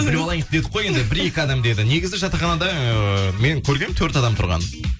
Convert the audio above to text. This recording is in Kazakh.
біліп алайық дедік қой енді бір екі адам деді негізі жатақханада ыыы мен көргенмін төрт адам тұрғанын